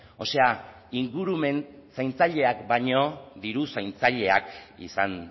o sea ingurumen zaintzaileak baino diru zaintzaileak izan